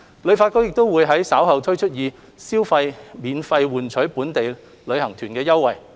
旅發局亦會於稍後推出以消費免費換取本地旅遊團的優惠。